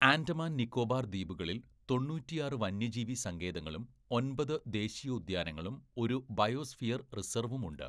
ആൻഡമാൻ നിക്കോബാർ ദ്വീപുകളിൽ തൊണ്ണൂറ്റിയാറ്‌ വന്യജീവി സങ്കേതങ്ങളും ഒൻപത് ദേശീയോദ്യാനങ്ങളും ഒരു ബയോസ്ഫിയർ റിസർവും ഉണ്ട്.